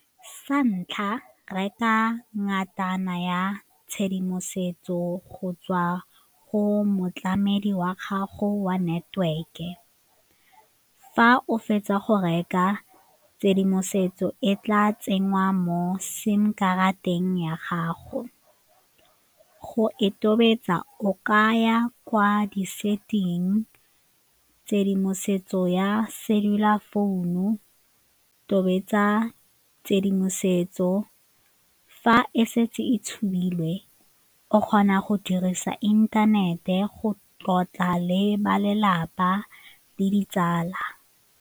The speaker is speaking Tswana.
Sa ntlha, reka ngatana ya tshedimosetso go tswa go motlamedi wa gago wa network-e, fa o fetsa go reka tshedimosetso e tla tsenngwa mo sim karateng ya gago. Go e tobetsa o ka ya kwa di-setting, tshedimosetso ya cellular phone-u tobetsa tshedimosetso fa e setse e tshubilwe o kgona go dirisa inthanete go tlotla le ba lelapa le ditsala.